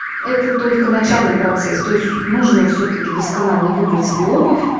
это только начальный процесс то есть нужно всё-таки досконально выбрать себе обувь